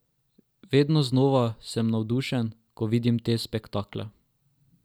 Vedno znova sem navdušena, ko vidim te spektakle.